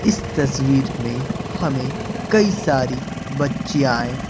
इस तस्वीर में हमें कई सारी बचियाएं--